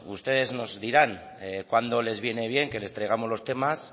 ustedes nos dirán cuándo les viene bien que les traigamos los temas